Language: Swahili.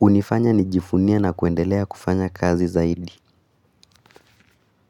unifanya nijifunia na kuendelea kufanya kazi zaidi.